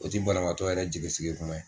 O tɛ banaaatɔ ye yɛrɛ jigisigi kuma ye